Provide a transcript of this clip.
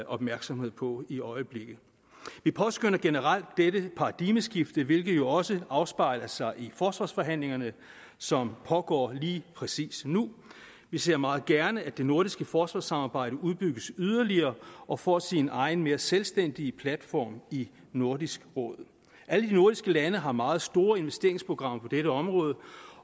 opmærksomhed på i øjeblikket vi påskønner generelt det paradigmeskift hvilket også afspejler sig i forsvarsforhandlingerne som pågår lige præcis nu vi ser meget gerne at det nordiske forsvarssamarbejde udbygges yderligere og får sin egen mere selvstændige platform i nordisk råd alle de nordiske lande har meget store investeringsprogrammer på dette område